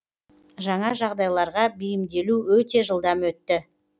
жаңа жағдайларға бейімделу өте жылдам өтті